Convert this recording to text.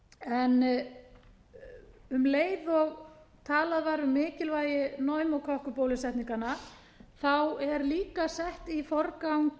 en um leið og talað var um mikilvægi pneumókokkabólusetninganna er líka sett í forgang